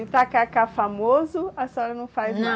E o tacacá famoso, a senhora não faz não? Na